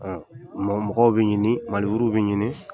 Mɔgɔw bɛ ɲini bɛ ɲini